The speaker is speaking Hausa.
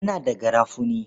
Ina da garafuni.